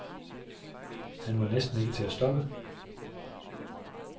Han var næsten ikke til at stoppe.